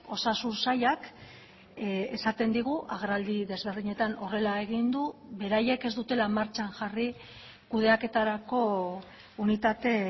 osasun sailak esaten digu agerraldi desberdinetan horrela egin du beraiek ez dutela martxan jarri kudeaketarako unitate